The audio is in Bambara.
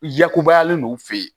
Yakubayalen n'u fe yen